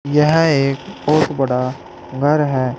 यह एक बहुत बड़ा घर है।